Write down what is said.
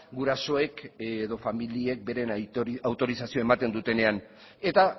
gurasoek edo familiek beren autorizazioa ematen dutenean eta